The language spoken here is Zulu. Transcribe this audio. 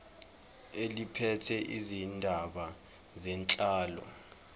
eliphethe izindaba zenhlalo